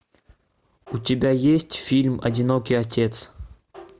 у тебя есть фильм одинокий отец